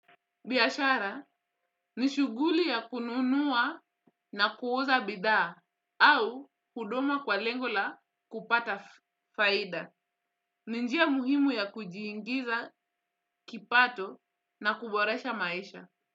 Biashara ni shughuli ya kununua na kuuza bidhaa au huduma kwa lengola kupata faida. Ninjia muhimu ya kujiingiza kipato na kuboresha maisha.